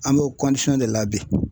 An bɛ de la bi